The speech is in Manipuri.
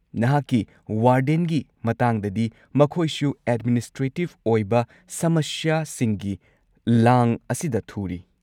ꯅꯍꯥꯛꯀꯤ ꯋꯥꯔꯗꯦꯟꯒꯤ ꯃꯇꯥꯡꯗꯗꯤ, ꯃꯈꯣꯏꯁꯨ ꯑꯦꯗꯃꯤꯅꯤꯁꯇ꯭ꯔꯦꯇꯤꯕ ꯑꯣꯏꯕ ꯁꯃꯁ꯭ꯌꯥꯁꯤꯡꯒꯤ ꯂꯥꯡ ꯑꯁꯤꯗ ꯊꯨꯔꯤ꯫